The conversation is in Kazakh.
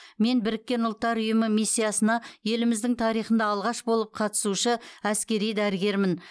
мен біріккен ұлттар ұйымы миссиясына еліміздің тарихында алғашқы болып қатысушы әскери дәрігермін